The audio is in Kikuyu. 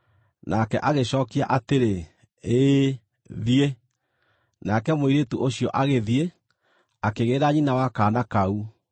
Nake agĩcookia atĩrĩ, “Ĩĩ, thiĩ.” Nake mũirĩtu ũcio agĩthiĩ, akĩgĩĩra nyina wa kaana kau.